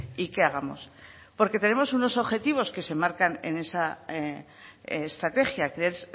y qué hagamos porque tenemos unos objetivos que se marcan en esa estrategia que es